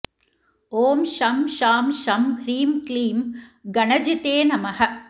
ॐ शं शां षं ह्रीं क्लीं गणजिते नमः